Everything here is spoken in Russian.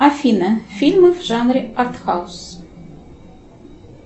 афина фильмы в жанре арт хаус